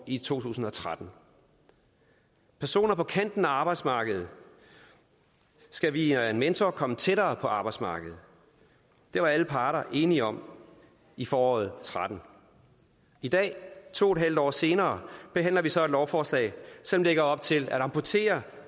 i to tusind og tretten personer på kanten af arbejdsmarkedet skal via en mentor komme tættere på arbejdsmarkedet det var alle parter enige om i foråret to og tretten i dag to en halv år senere behandler vi så et lovforslag som lægger op til at amputere